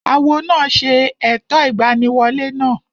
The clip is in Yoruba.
Awo náà ṣe ẹ̀tọ́ ìgbaniwolẹ́ náà